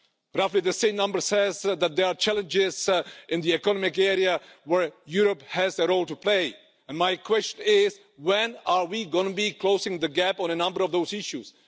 Roughly the same number says that there are challenges in the economic area where Europe has a role to play. My question is, when are we going to close the gap on a number of those issues?